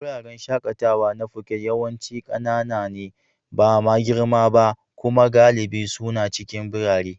Wuraren shakatawa na Foket yawanci ƙanana ne, ba ma girma ba. Kuma galibi suna cikin birane.